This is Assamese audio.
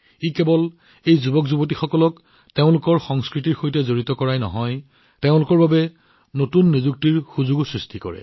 ইয়াৰ সৈতে এই যুৱকযুৱতীসকলে কেৱল তেওঁলোকৰ সংস্কৃতিৰ সৈতে সম্পৰ্কিতই নহয় বৰঞ্চ তেওঁলোকৰ বাবে নতুন নিযুক্তিৰ সুযোগো সৃষ্টি কৰে